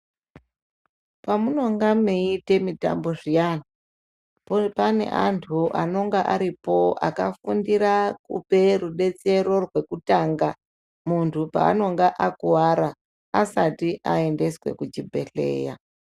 Pamunonga meiite mitambo zviyani, popane antu anonga aripo akafundira kupe rubetsero rwekutanga, muntu peanonga akuwara, asati aendeswe kuchibhedhleya.